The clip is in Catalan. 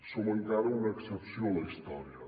som encara una excepció a la història